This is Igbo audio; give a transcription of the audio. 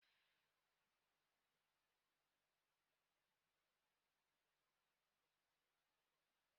Òkù dọrọ ya ụnyaahụ ma na ọ metụrụ waya gba ọtọ aka.